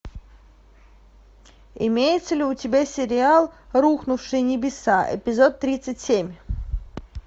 имеется ли у тебя сериал рухнувшие небеса эпизод тридцать семь